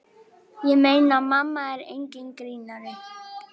Ég meina, mamma er enginn grínari.